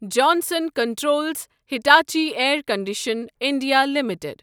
Johnson Controls Hitachi Air Condition India limited